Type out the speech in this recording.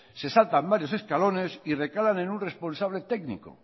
se saltan varios escalones y recalan en un responsable técnico